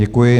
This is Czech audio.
Děkuji.